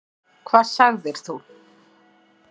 Hvað sagðir þú?